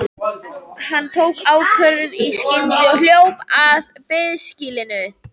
Hann tók ákvörðun í skyndi og hljóp að biðskýlinu.